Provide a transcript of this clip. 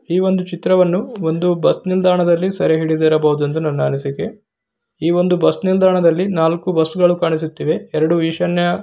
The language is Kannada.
ಈ ಒಂದು ಚಿತ್ರವನ್ನುಒಂದು ಬಸ್ ನಿಲ್ದಾಣದಲ್ಲಿ ಸೆರೆ ಹಿಡಿದಿರಬಹುದು ಎಂಬುದು ನನ್ನ ಅನಿಸಿಕೆ ಈ ಒಂದು ಬಸ್ ನಿಲ್ದಾಣದಲ್ಲಿ ನಾಲ್ಕು ಬಸ್ಗಳು ಕಾಣಿಸುತ್ತಿವೆ. ಎರಡು ಈಶಾನ್ಯ--